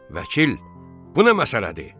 Vəkil, bu nə məsələdir?